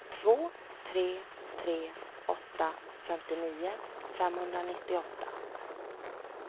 två tre tre åtta femtionio femhundranittioåtta